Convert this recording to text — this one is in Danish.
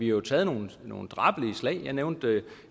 jo taget nogle nogle drabelige slag jeg nævnte